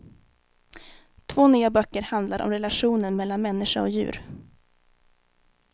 Två nya böcker handlar om relationen mellan människa och djur.